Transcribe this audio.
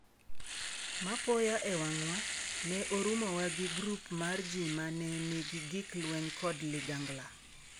"Mapoya e wang'wa, ne orumowa gi grup mar ji ma ne nigi gik lweny kod ligangla."